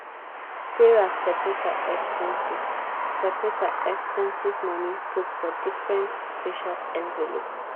sarah seperate her expenses seperate her expenses money put for different special envelope.